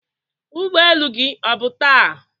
ụgbọ elu gị ọ bụ taa?